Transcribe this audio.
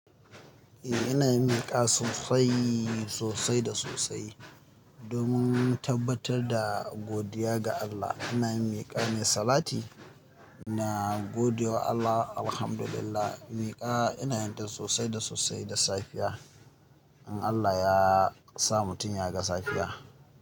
Eh ina miƙa sosai, sosai da sosai. Domin tabbatar da godiya ga Allah ina miƙa mai salati, ina godewa Allah. Alhamdulillah miƙa inayin ta sosai da sosai da safiya in Allah yasa mutum ya ga safiya.